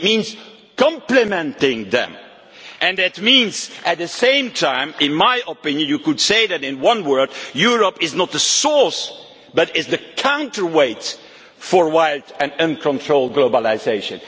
It means complementing them and that means at the same time, in my opinion you could say it in one word that Europe is not the source but is the counterweight for wild and uncontrolled globalisation.